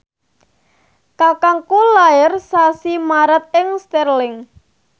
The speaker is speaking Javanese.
kakangku lair sasi Maret ing Stirling